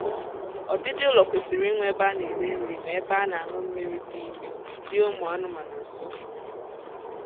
ọdịdị ụlọ kwesịrị inwe ebe a na-eri nri na ebe a na-añụ mmiri n'ime dị ụmụ anụmaanụ nso